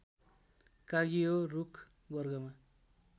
काँगियो रूख वर्गमा